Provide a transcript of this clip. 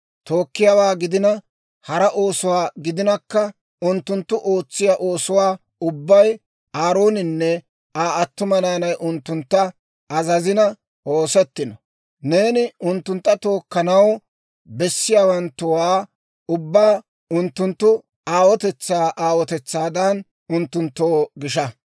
Tookkiyaawaa gidina, hara oosuwaa gidinakka unttunttu ootsiyaa oosuwaa ubbay Aarooninne Aa attuma naanay unttuntta azazina oosettino. Neeni unttunttu tookkanaw bessiyaabatuwaa ubbaa unttunttu aawotetsaa aawotetsaadan unttunttoo gisha.